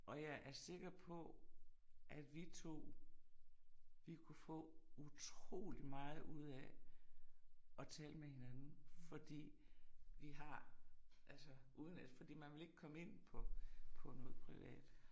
Og jeg er sikker på, at vi to vi kunne få utrolig meget ud af og tale med med hinanden fordi vi har altså uden at fordi man vil ikke komme ind på på noget privat